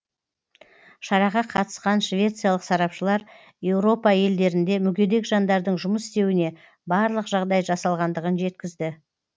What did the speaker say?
шараға қатысқан швециялық сарапшылар еуропа елдерінде мүгедек жандардың жұмыс істеуіне барлық жағдай жасалғандығын жеткізді